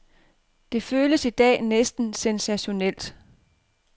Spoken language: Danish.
Det føles i dag næsten sensationelt.